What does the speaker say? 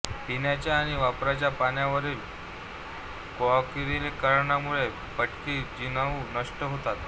पिण्याच्या आणि वापराच्या पाण्यावरील क्लोरिनीकरणामुळे पटकी जिवाणू नष्ट होतात